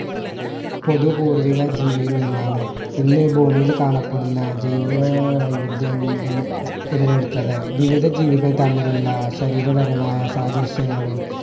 പുതു പൂർവിക ജീവിയിൽ നിന്നാണ് ഇന്ന് ഭൂമിയിൽ കാണപ്പെടുന്ന ജൈവ വൈവിദ്യം ഉൽ ഉടലെടുത്തത് വിവിധ ജീവികൾ തമ്മിലുള്ള ശരീരപരമായ സാദൃശ്യങ്ങളും